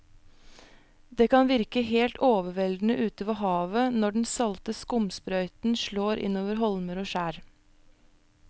Det kan virke helt overveldende ute ved havet når den salte skumsprøyten slår innover holmer og skjær.